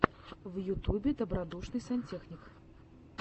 в ютюбе добродушный сантехник